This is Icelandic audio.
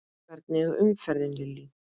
Hvernig er umferðin Lillý?